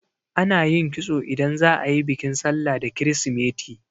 Ana yin kitso idan za'a yi bikin sallah da kirisimeti.